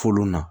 Folo na